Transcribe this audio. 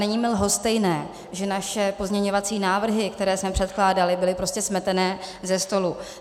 Není mi lhostejné, že naše pozměňovací návrhy, které jsme předkládali, byly prostě smeteny ze stolu.